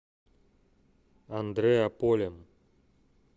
андреаполем